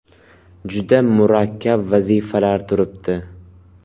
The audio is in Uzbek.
Juda murakkab vazifalar turibdi.